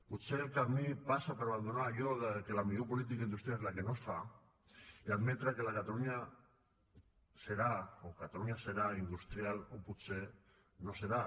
potser el camí passa per abandonar allò que la millor política industrial és la que no es fa i admetre que catalunya serà industrial o potser no serà